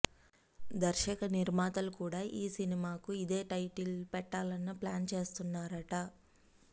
దర్శకనిర్మాతలు కూడా ఈ సినిమాకి ఇదే టైటిల్ పెట్టాలని ప్లాన్ చేస్తున్నారట